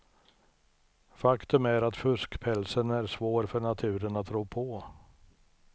Faktum är att fuskpälsen är svår för naturen att rå på.